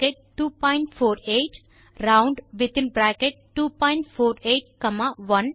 round248 round248 1